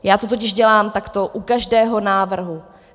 Já to totiž dělám takto u každého návrhu.